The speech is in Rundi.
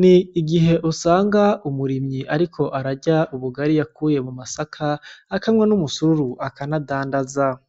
n'igih'usanga umurimyi ariko ararya ubugari yakuye mu masaka , akanwa n'ubusururu , akanadandaza .